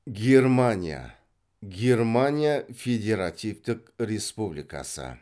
германия германия федеративтік республикасы